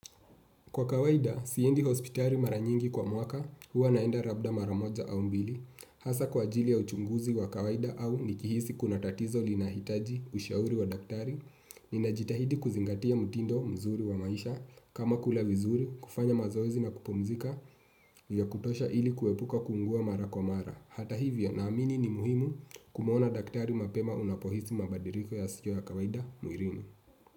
Kwa kawaida, siendi hospitari mara nyingi kwa mwaka, huwa naenda rabda mara moja au mbili. Hasa kwa ajili ya uchunguzi wa kawaida au nikihisi kuna tatizo linahitaji ushauri wa daktari, ninajitahidi kuzingatia mutindo mzuri wa maisha, kama kula vizuri, kufanya mazoezi na kupumzika, ya kutosha ili kuepuka kuungua mara kwa mara. Hata hivyo, na amini ni muhimu kumuona daktari mapema unapohisi mabadiriko ya siyo ya kawaida mwirini.